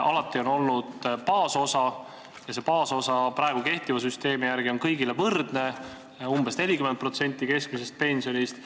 Alati on olnud baasosa ja see baasosa on praegu kehtiva süsteemi järgi kõigil võrdne, umbes 40% keskmisest pensionist.